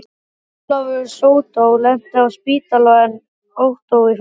Ólafur sódó lenti á spítala en Ottó í fangelsi.